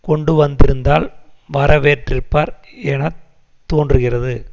கொண்டுவந்திருந்தால் வரவேற்றிப்பார் என தோன்றுகிறது